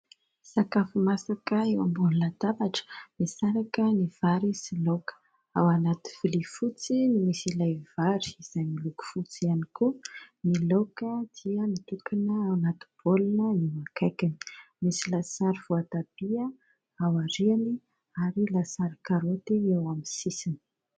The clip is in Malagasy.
Sakafo masaka eo ambony latabatra, misaraka ny vary sy laoka: ao anaty vilia fotsy ny misy ilay vary izay miloko fotsy ihany koa; ny laoka dia nitokana ao anaty baolina eo akaikiny, misy lasary voatabia aoriany ary lasary karoty eo amin'ny sisiny.